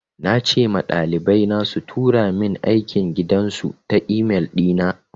Na ce ma ɗalibai na su tura min aikin gidan su ta e-mail ɗi na.